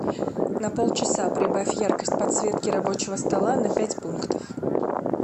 на полчаса прибавь яркость подсветки рабочего стола на пять пунктов